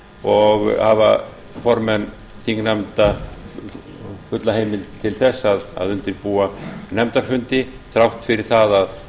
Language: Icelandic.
og hafa formenn þingnefnda fulla heimild til þess að undirbúa nefndarfundi þrátt fyrir